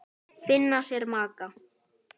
Finna sér maka.